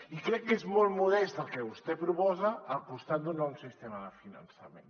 i crec que és molt modest el que vostè proposa al costat d’un nou sistema de finançament